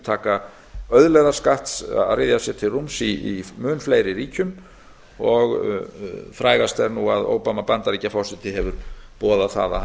auðlegðarskatts að ryðja sér til rúms í mun fleiri ríkjum og frægast er nú að obama bandaríkjaforseti hefur boðað að hann